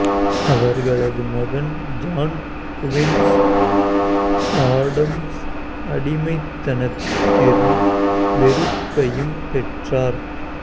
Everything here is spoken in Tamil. அவர்களது மகன் ஜான் குவின்சி ஆடம்ஸ் அடிமைத்தனத்தின் வெறுப்பையும் பெற்றார்